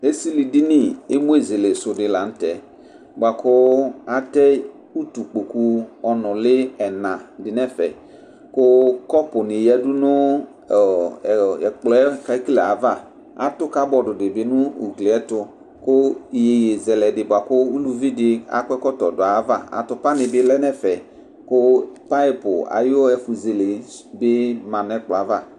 Ẹsilidini emu ezele su di la nu tɛ Bua ku atɛ utu kpokpu ɔnuli ɛna di nu ɛfɛ Ku kɔpuni yadu nu ɛkplɔ yɛ fɛtla yɛ ava Atu kabɔd di bi nu ugli yɛ ɛtu Ku iyeyui zɛlɛ di bua ku uluvi di akɔ ɛkɔtɔ du ayava Atupani bi lɛ nu ɛfɛ Ku payp ayu ɛfu zele di ma nu ɛkplɔ yɛ ava